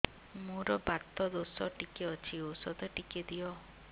ମୋର୍ ବାତ ଦୋଷ ଟିକେ ଅଛି ଔଷଧ ଟିକେ ଦିଅ